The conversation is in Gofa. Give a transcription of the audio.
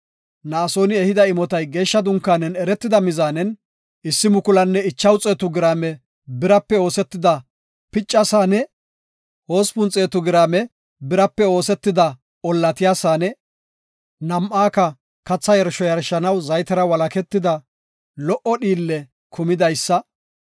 Na7asooni ehida imotay geeshsha dunkaanen eretida mizaanen 1,500 giraame birape oosetida picca Saane, 800 giraame birape oosetida ollatiya saane, nam7aaka katha yarsho yarshanaw zaytera walaketida lo77o dhiille kumidaysa;